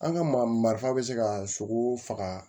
An ka marifa bɛ se ka sogo faga